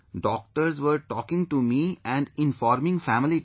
Doctors were talking to me and informing family too